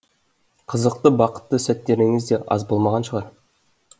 қызықты бақытты сәттеріңіз де аз болмаған шығар